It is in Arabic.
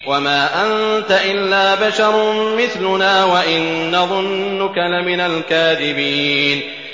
وَمَا أَنتَ إِلَّا بَشَرٌ مِّثْلُنَا وَإِن نَّظُنُّكَ لَمِنَ الْكَاذِبِينَ